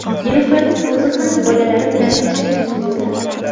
Nilufarning o‘zi ham bolalari bilan tashrif buyurdi.